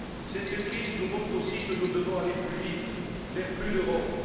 Cette crise nous montre aussi que nous devons aller plus vite vers plus d'Europe.